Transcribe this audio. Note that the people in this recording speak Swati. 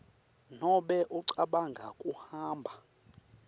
nobe ucabanga kuhamba